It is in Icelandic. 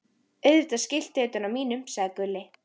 Auðvitað skiltið utan á mínum, sagði Gulli.